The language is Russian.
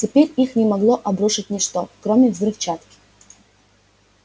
теперь их не могло обрушить ничто кроме взрывчатки